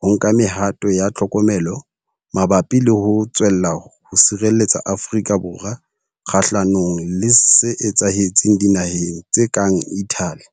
ho nka me-hato ya tlhokomelo mabapi le ho tswella ho sireletsa Afrika Borwa kgahlanong le se etsahetseng dinaheng tse kang Italy.